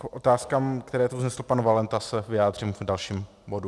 K otázkám, které tu vznesl pan Valenta, se vyjádřím v dalším bodu.